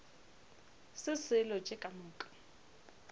se selo tše ka moka